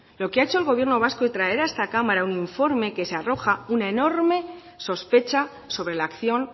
lo que ha hecho el gobierno vasco y traer a esta cámara un informe que arroja una enorme sospecha sobre la acción